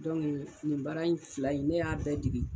nin baara in fila in ne y'a bɛɛ dege.